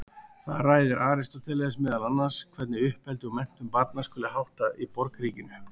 Þar ræðir Aristóteles meðal annars hvernig uppeldi og menntun barna skuli háttað í borgríkinu.